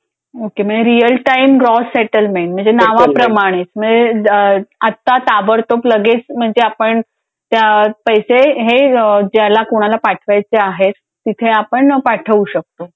Okay म्हणजे real time gross settlement म्हणजे नावाप्रमाणे म्हणजे आत्ता ताबडतोब लगेच म्हणजे आपण त्यात पैसे हे ज्याला कोणाला पाठवायचे आहेत तिथे आपण पाठवू शकतो.